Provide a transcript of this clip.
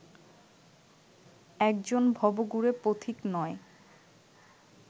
একজন ভবঘুরে পথিক নয়